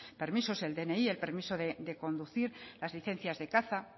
permisos el dni el permiso de conducir las licencias de caza